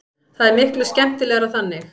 Það er miklu skemmtilegra þannig.